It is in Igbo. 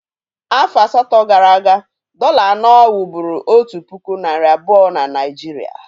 Afọ asatọ gara aga, dọ̀là anọ wụ́bụ́ru otu puku nari abuo na Naịjirịa